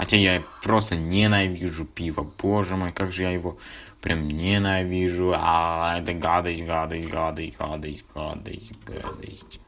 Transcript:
хотя я просто ненавижу пиво боже мой как же я его прям ненавижу эта гадость гадость гадость гадость гадость гадость